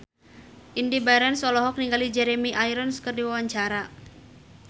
Indy Barens olohok ningali Jeremy Irons keur diwawancara